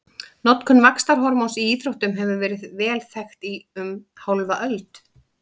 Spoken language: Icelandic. Notkun vaxtarhormóns í íþróttum hefur verið vel þekkt í um hálfa öld.